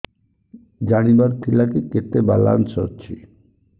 ଜାଣିବାର ଥିଲା କି କେତେ ବାଲାନ୍ସ ଅଛି